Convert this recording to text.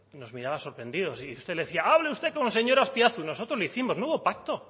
nos miraba sorprendidos y usted le decía hable usted con el señor azpiazu y nosotros hicimos nuevo